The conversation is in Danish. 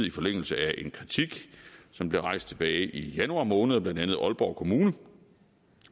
i forlængelse af en kritik som blev rejst tilbage i januar måned af blandt andet aalborg kommune